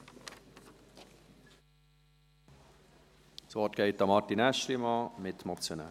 Das Wort geht an den Mitmotionär Martin Aeschlimann.